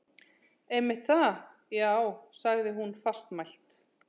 Einmitt það, já- sagði hún fastmælt.